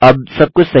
अब सब कुछ सही है